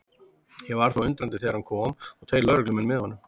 Ég varð þó undrandi þegar hann kom og tveir lögreglumenn með honum.